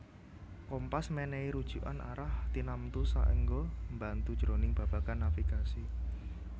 Kompas mènèhi rujukan arah tinamtu saéngga mbantu jroning babagan navigasi